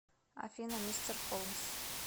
афина мистер холмс